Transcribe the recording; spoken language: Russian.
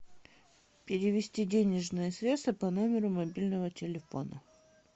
перевести денежные средства по номеру мобильного телефона